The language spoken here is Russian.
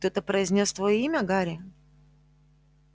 кто-то произнёс твоё имя гарри